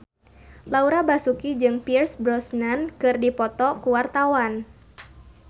Laura Basuki jeung Pierce Brosnan keur dipoto ku wartawan